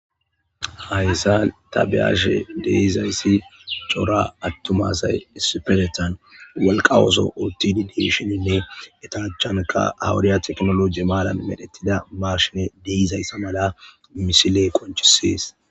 Hayssan ta beyashe de'izayssi cora attuma assay issipeteteththan walqqa ooso oottidi de'ishshininne eta achchankka haa wodiya teknoloji maaran medhdhettida mashshiney de'izayssa malla misiley qoncissees